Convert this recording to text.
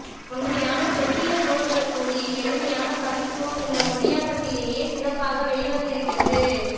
தொன்மையான செவ்வியல் நூல்களுக்குரிய எளிமையான கவித்துவம் இந்த மொழியாக்கத்திலேயே சிறப்பாக வெளிவந்திருக்கிறது